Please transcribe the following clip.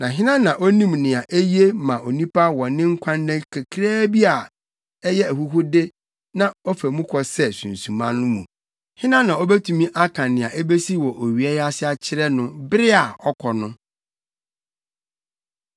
Na hena na onim nea eye ma onipa wɔ ne nkwanna kakraa bi a ɛyɛ ahuhude na ɔfa mu kɔ sɛ sunsuma no mu? Hena na obetumi aka nea ebesi wɔ owia yi ase akyerɛ no bere a ɔkɔ no?